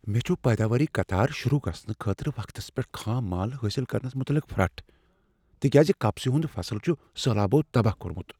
مےٚ چھُ پیداواری قطار شروع گژھنہٕ خٲطرٕ وقتس پیٹھ خام مال حٲصل کرنس مُتعلق پھرٛٹھ ، تکیاز کپسہِ ہُند فصل چھُ سہلابو تباہ كو٘رمُت ۔